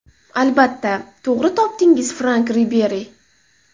Albatta, to‘g‘ri topdingiz Frank Riberi.